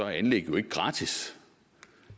er anlæg jo ikke gratis